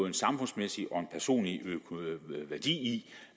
en samfundsmæssig og en personlig værdi i